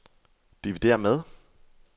dividér med